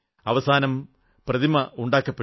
അവസാനം പ്രതിമ നിർമ്മിക്കപ്പെട്ടു